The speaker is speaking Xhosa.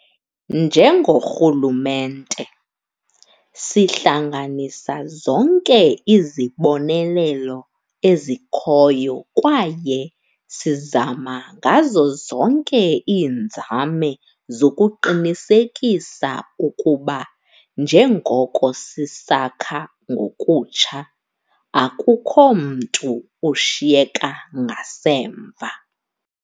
Njengorhulumente, sihlanganisa zonke izibonelelo ezikhoyo kwaye sizama ngazo zonke iinzame zokuqinisekisa ukuba, njengoko sisakha ngokutsha, akukho mntu ushiyeka ngasemva.